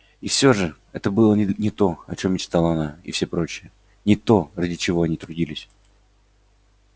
и всё же это было не то о чём мечтала она и все прочие не то ради чего они трудились